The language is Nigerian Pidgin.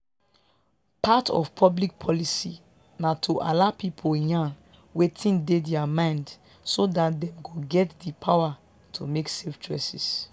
part of public policy na to allow people yarn wetin dey their mind so dat dem go get di power to make safe choices